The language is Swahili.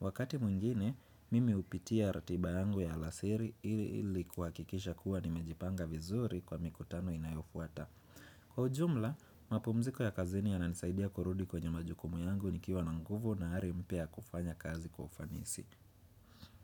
Wakati mwingine, mimi hupitia ratiba yangu ya alasiri ili kuhakikisha kuwa nimejipanga vizuri kwa mikutano inayofuata. Kwa ujumla, mapumziko ya kazini yananisaidia kurudi kwenye majukumu yangu nikiwa na nguvu na hali mpya kwa kufanya kazi kufanisi.